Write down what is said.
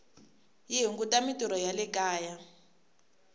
yi hunguta mintirho ya le kaya